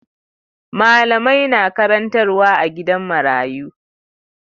Malamai na karantarwa a gidan marayu.